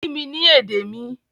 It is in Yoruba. Kí mi ní èdè mi!